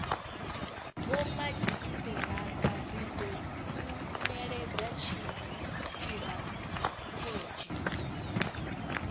vhomadzhisiṱiraṱa ri ḓo khunyeledza tshiṱirathedzhi